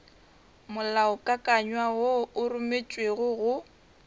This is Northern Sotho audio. molaokakanywa wo o rometšwego go